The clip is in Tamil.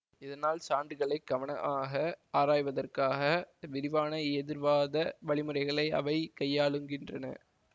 இதனால் சான்றுகளைக் கவனமாக ஆராய்வதற்காக விரிவான எதிர்வாத வழிமுறைகளை அவை கையாளுகின்றன